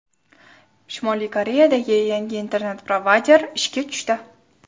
Shimoliy Koreyada yangi internet-provayder ishga tushdi.